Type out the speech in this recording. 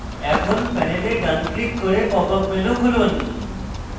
এখন panel ডান click করে pop up menu খুলুন